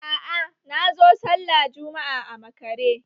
Aa, nazo sallah Jumma'a a makare